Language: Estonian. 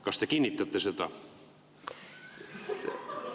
Kas te kinnitate seda?